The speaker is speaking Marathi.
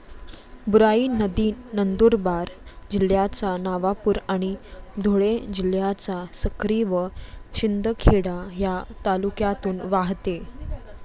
बुराई नदी नंदुरबार जिल्ह्याच्या नवापूर आणि धुळे जिल्ह्याच्या सक्री व शिंदखेडा या तालुक्यातून वाहते.